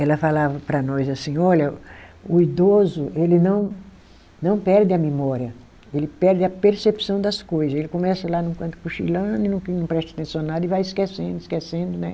Ela falava para nós assim, olha, o idoso, ele não não perde a memória, ele perde a percepção das coisa, ele começa lá no canto cochilando, não presta atenção em nada e vai esquecendo, esquecendo, né?